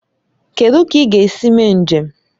Kedụ ka ị ga-esi mee njem?